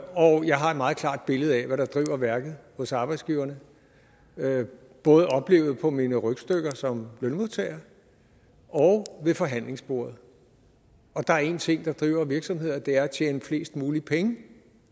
og jeg har et meget klart billede af hvad der driver værket hos arbejdsgiverne både oplevet på mine rygstykker som lønmodtager og ved forhandlingsbordet og der er en ting der driver virksomheder og det er at tjene flest muligt penge